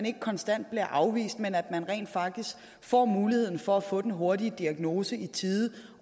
ikke konstant bliver afvist men rent faktisk får muligheden for at få den hurtige diagnose i tide